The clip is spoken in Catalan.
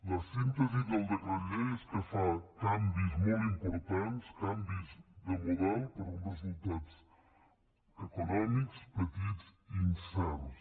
la síntesi del decret llei és que fa canvis molt importants canvis de model per uns resultats econòmics petits i incerts